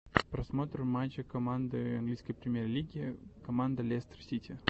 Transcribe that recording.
просмотр матча команды английской премьер лиги команда лестер сити